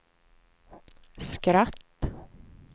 skratt